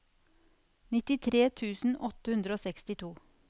nittitre tusen åtte hundre og sekstito